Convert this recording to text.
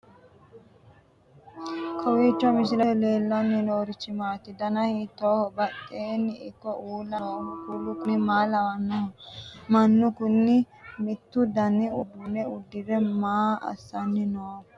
kowiicho misilete leellanorichi maati ? dana hiittooho ?badhhenni ikko uulla noohu kuulu kuni maa lawannoho? mannu kuni mittu dani uduunne uddire maa assanni nooikka